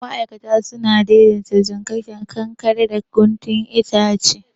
Ma'aikata sun daidaita jikakken kankaren da guntun itace.